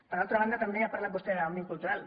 per altra banda també ha parlat vostè d’òmnium cultural